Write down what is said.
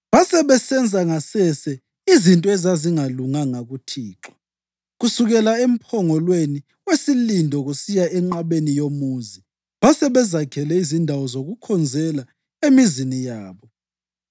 Basebesenza ngasese izinto ezazingalunganga kuThixo. Kusukela emphongolweni wesilindo kusiya enqabeni yomuzi basebezakhele izindawo zokukhonzela emizini yabo.